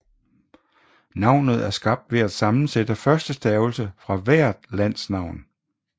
Navnet er skabt ved at sammensætte første stavelse fra hvert lands navn